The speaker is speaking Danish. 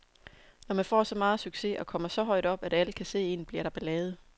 Når man får så meget succes og kommer så højt op, at alle kan se en, bliver der ballade.